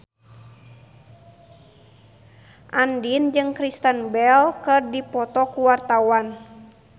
Andien jeung Kristen Bell keur dipoto ku wartawan